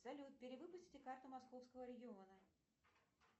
салют перевыпустите карту московского региона